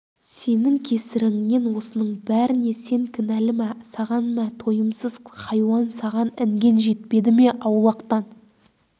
сенің кесіріңнен осының бәріне сен кінәлі мә саған мә тойымсыз хайуан саған інген жетпеді ме аулақтан